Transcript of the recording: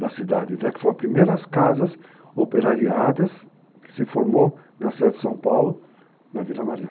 da cidade, até que foram as primeiras casas operariadas, que se formou na cidade de São Paulo, na Vila Mariana.